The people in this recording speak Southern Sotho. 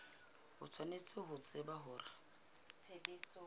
o tshwanetse ho tseba hore